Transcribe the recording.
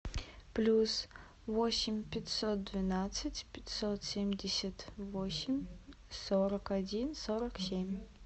плюс восемь пятьсот двенадцать пятьсот семьдесят восемь сорок один сорок семь